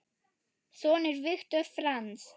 Sonur Viktor Franz.